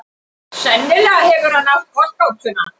Sennilega hefur hann átt kollgátuna.